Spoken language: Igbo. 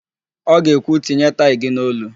Ọ ga-ekwu, "tinye taị gị n'olu"!